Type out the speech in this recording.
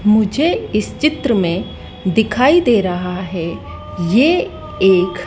मुझे इस चित्र में दिखाई दे रहा है ये एक--